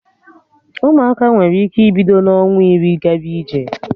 Ụmụaka nwere ike ibido n'ọnwa iri gaba ije